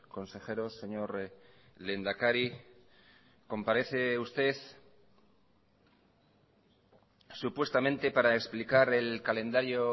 consejeros señor lehendakari comparece usted supuestamente para explicar el calendario